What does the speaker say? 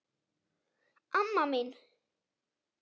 Amma mín